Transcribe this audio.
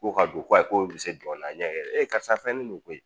K'o ka don ko ayi k'o bɛ se dɔnna a ɲɛ e karisa fɛn ne de koyi.